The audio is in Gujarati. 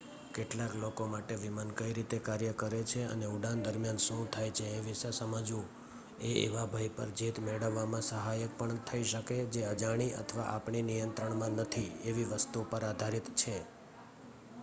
કેટલાક લોકો માટે વિમાન કઈ રીતે કાર્ય કરે છે અને ઉડાન દરમિયાન શું થાય છે એ વિષે સમઝવું એ એવા ભય પર જીત મેળવવામાં સહાયક થઇ શકે જે અજાણી અથવા આપણીં નિયંત્રણમાં નથી એવી વસ્તુ પર આધારિત છે